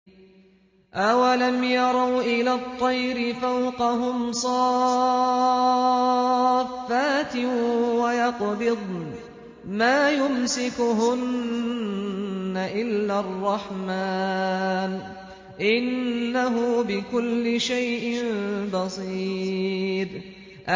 أَوَلَمْ يَرَوْا إِلَى الطَّيْرِ فَوْقَهُمْ صَافَّاتٍ وَيَقْبِضْنَ ۚ مَا يُمْسِكُهُنَّ إِلَّا الرَّحْمَٰنُ ۚ إِنَّهُ بِكُلِّ شَيْءٍ بَصِيرٌ